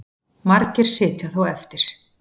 Margir sitja þó eftir